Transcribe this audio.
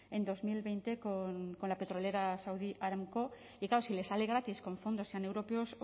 en dos mil veinte con la petrolera saudi aramco y claro si le sale gratis con fondos sean europeos